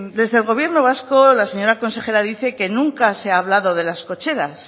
desde el gobierno vasco la señora consejera dice que nunca se ha hablado de las cocheras